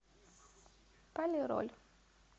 полироль